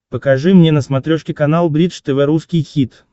покажи мне на смотрешке канал бридж тв русский хит